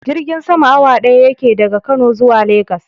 Jirgin sama awa ɗaya yake daga kano zuwa legas.